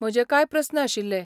म्हजे कांय प्रस्न आशिल्ले.